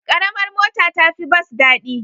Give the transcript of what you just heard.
Ƙaramar mota ta fi bas daɗi.